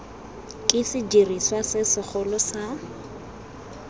ke sediriswa se segolo sa